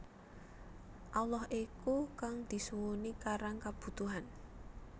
Allah iku kang disuwuni karang kabutuhan